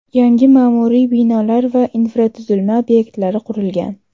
Yangi ma’muriy binolar va infratuzilma obyektlari qurilgan.